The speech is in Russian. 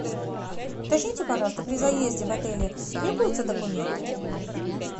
уточните пожалуйста при заезде в отеле требуются документы